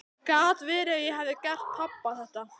Gat verið að ég hefði gert pabba þetta?